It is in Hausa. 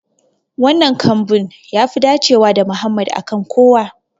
Wannan kambun yafi dacewa da Mohammed a kan kowa.